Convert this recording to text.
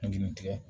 N'i tigɛ